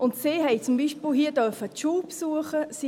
Sie haben zum Beispiel hier die Schule besuchen dürfen.